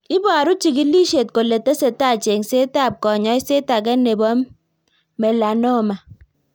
Iboru chigilishet kole tesetai cheng'setab kanyoiset age nebo melanoma